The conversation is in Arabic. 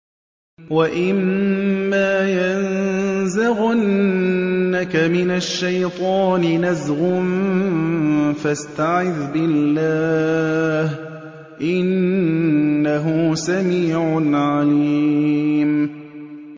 وَإِمَّا يَنزَغَنَّكَ مِنَ الشَّيْطَانِ نَزْغٌ فَاسْتَعِذْ بِاللَّهِ ۚ إِنَّهُ سَمِيعٌ عَلِيمٌ